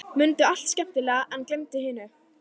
Mundu allt skemmtilegt en gleymdu hinu.